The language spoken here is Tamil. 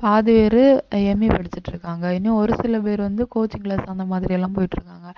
பாதிபேரு MA படிச்சுட்டு இருக்காங்க இன்னும் ஒரு சில பேர் வந்து coaching class அந்த மாதிரி எல்லாம் போயிட்டு இருக்காங்க